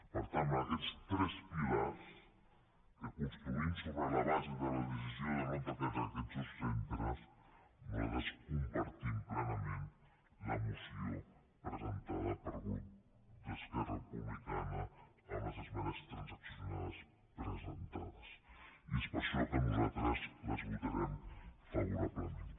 per tant amb aquests tres pilars que construïm sobre la base de la decisió de no tancar aquests dos centres nosaltres compartim plenament la moció presentada pel grup d’esquerra republicana amb les esmenes transaccionades presentades i és per això que nosaltres les votarem favorablement